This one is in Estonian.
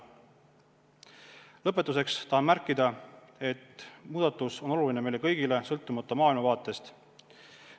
Lõpetuseks tahan märkida, et muudatus on oluline meile kõigile, sõltumata maailmavaatest.